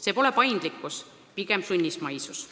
See pole paindlikkus, pigem sunnismaisus.